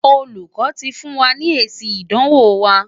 Olùkọ́ ti fún wa ní èsì ìdánwò wa.